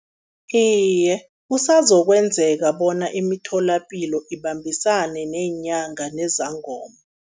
Iye, kusazokwenzeka bona imitholapilo ibambisane neenyanga nezangoma.